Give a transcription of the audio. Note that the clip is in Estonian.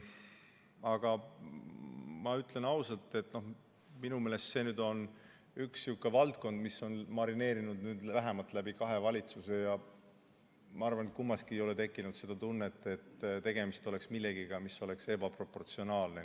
Aga ma ütlen ausalt, et minu meelest see on üks niisugune valdkond, mis on marineerinud vähemalt läbi kahe valitsuse ja ma arvan, et kummaski ei ole tekkinud seda tunnet, et tegemist oleks millegagi, mis oleks ebaproportsionaalne.